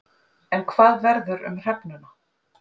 En hvað verður um hrefnuna?